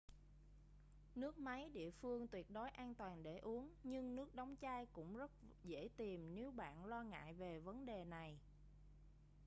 nước máy địa phương tuyệt đối an toàn để uống nhưng nước đóng chai cũng rất dễ tìm nếu bạn lo ngại về vấn đề này